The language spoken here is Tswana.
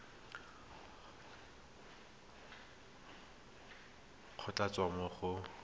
go tla tswa mo go